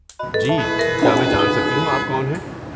جی، کیا میں جان سکتی ہوں آپ کون ہیں؟